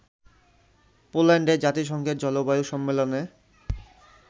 পোল্যান্ডে জাতিসংঘের জলবায়ু সম্মেলনে